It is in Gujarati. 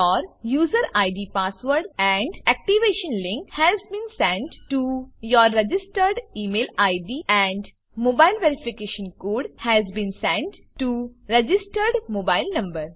આ દર્શાવે છે કે your user ID password and activation link has been send to your registered email ID and mobile verification code has been send to registered mobile number